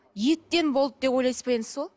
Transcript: еттен болды деп ойлайсыз ба енді сол